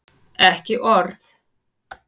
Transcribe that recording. Ekki orð!